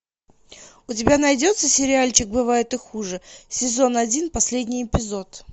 у тебя найдется сериальчик бывает и хуже сезон один последний эпизод